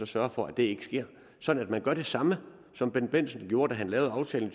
sørge for at det ikke sker sådan at man gør det samme som bendt bendtsen gjorde da han lavede aftalen